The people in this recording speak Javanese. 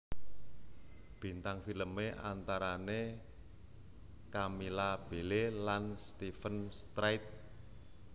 Bintang filmé antarané Camilla Belle lan Steven Strait